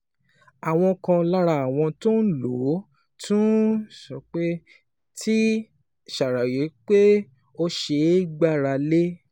Àwọn kan lára àwọn tó ń lò ó tún ti ṣàròyé pé ó ṣeé gbára lé